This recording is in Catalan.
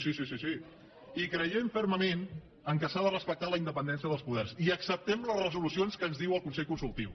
sí sí sí i creiem fermament que s’ha de respectar la independència dels poders i acceptem les resolucions que ens diu el consell consultiu